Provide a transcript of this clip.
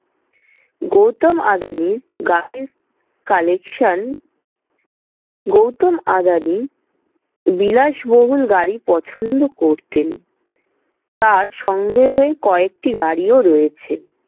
গৌতম আদানির গাড়ির collection গৌতম আদানি বিলাসবহুল গাড়ি পছন্দ করতেন, তার সংগ্রহে কয়েকটি গাড়িও রয়েছে।